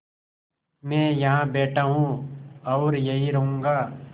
मैं यहाँ बैठा हूँ और यहीं रहूँगा